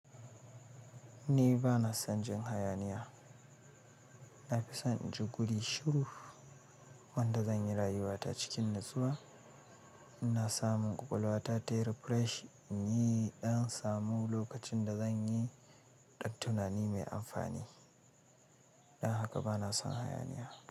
Ni ba na son jin hayaniya. Na fi son in ji guri shiru wanda zan yi rayuwa ta cikin natsuwa. Ina samun ƙwaƙwalwa ta yi refresh domin in yi ɗan samu lokacin da zan yi ɗan tunani mai amfani. Dan haka ba na son hayaniya.